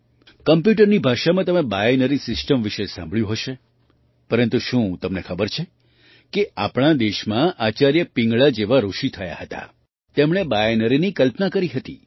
કમ્પ્યૂટરની ભાષામાં તમે binary system વિશે પણ સાંભળ્યું હશે પરંતુ શું તમને ખબર છે કે આપણા દેશમાં આચાર્ય પિંગળા જેવા ઋષિ થયા હતા જેમણે બાઇનરીની કલ્પના કરી હતી